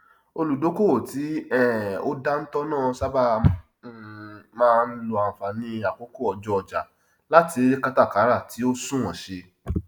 olùdókòwò tí um ó dántọ náà sáábà um máa n lò ànfàní àkókò ọjọ ọjà láti rí kátàkàrà tì ó sunwọn ṣe